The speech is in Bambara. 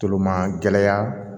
Tomagɛ